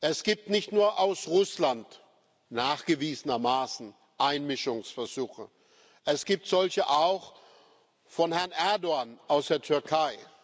Es gibt nicht nur aus Russland nachgewiesenermaßen Einmischungsversuche, es gibt solche auch von Herrn Erdoğan aus der Türkei.